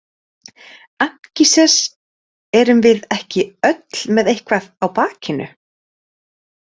Ankíses Erum við ekki öll með eitthvað á bakinu?